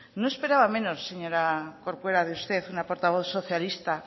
no esperaba menos de usted señora corcuera una portavoz socialista